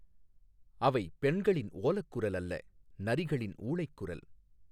அவை பெண்களின் ஓலக் குரல் அல்ல நரிகளின் ஊளைக் குரல்!